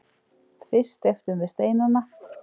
Fyrst steyptum við steinana.